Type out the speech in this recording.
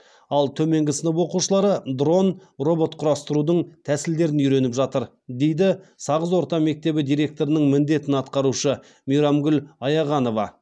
ал төменгі сынып оқушылары дрон робот құрастырудың тәсілдерін үйреніп жатыр дейді сағыз орта мектебі директорының міндетін атқарушы мейрамгүл аяғанова